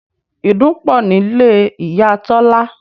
Ìdun pọ̀ nílé Ìyá Tọ́lá